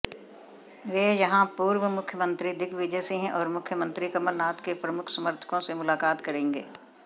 वे यहां पूर्व मुख्यमंत्री दिग्विजय सिंह और मुख्यमंत्री कमलनाथ के प्रमुख समर्थकों से मुलाकात करेंगे